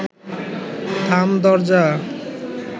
থাম দরজা